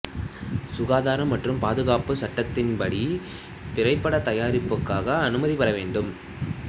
சுகாதாரம் மற்றும் பாதுகாப்பு சட்டத்தின்படி திரைப்பட தயாரிப்புக்காக அனுமதிபெற வேண்டும்